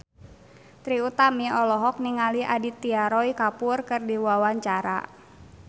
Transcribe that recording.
Trie Utami olohok ningali Aditya Roy Kapoor keur diwawancara